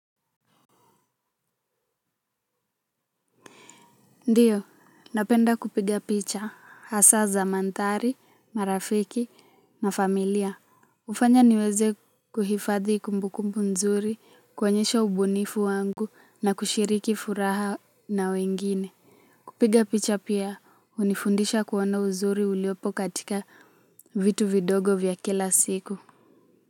Ndiyo, napenda kupiga picha, hasa za mandhari, marafiki na familia. Hufanya niweze kuhifadhi kumbukumbu nzuri, kuonyesha ubunifu wangu na kushiriki furaha na wengine. Kupiga picha pia, hunifundisha kuonaa uzuri uliopo katika vitu vidogo vya kila siku.